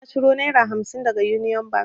Jiya na ciro naira hamsin daga union bank